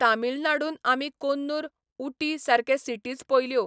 तामिळनाडून आमी कोन्नूर, उटी, सारके सिटीज पयल्यो.